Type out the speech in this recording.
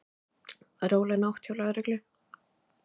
Róleg nótt hjá lögreglu